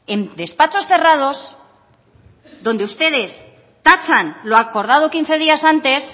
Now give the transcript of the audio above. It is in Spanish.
en despachos cerrados donde ustedes tachan lo acordado quince días antes